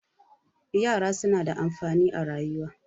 yara suna da amfani a rayuwa